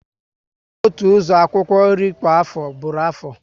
Iku otu uzo akwukwo nri kwa aho buru aho